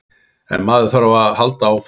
En maður þarf að halda áfram.